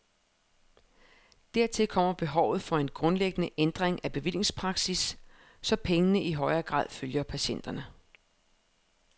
Dertil kommer behovet for en grundlæggende ændring af bevillingspraksis, så pengene i højere grad følger patienterne.